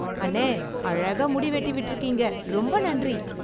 அண்ணே, அழகா முடி வெட்டி விட்ருக்கீங்க. ரொம்ப நன்றி.